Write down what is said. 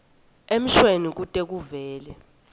emshweni kute kuvele